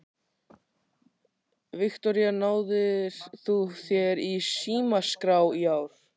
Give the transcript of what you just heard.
Viktoría: Náðir þú þér í símaskrá í ár?